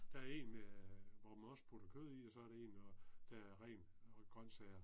Der er en med hvor man også putter kød i og så er det en også der er ren grøntsager